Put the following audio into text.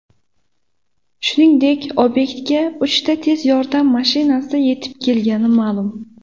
Shuningdek, obyektga uchta tez yordam mashinasi yetib kelgani ma’lum.